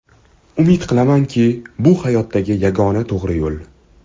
Umid qilamanki, bu hayotdagi yagona to‘g‘ri yo‘l.